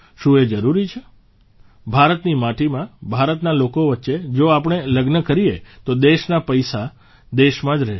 શું એ જરૂરી છે ભારતની માટીમાં ભારતના લોકો વચ્ચે જો આપણે લગ્ન કરીએ તો દેશના પૈસા દેશમાં જ રહેશે